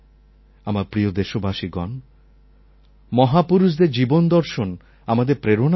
আমার প্রিয় দেশবাসীগণ মহাপুরুষদের জীবন দর্শন আমাদের প্রেরণার উৎস